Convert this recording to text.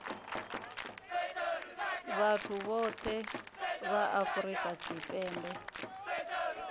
vhathu vhohe vha afurika tshipembe